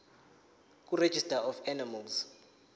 kuregistrar of animals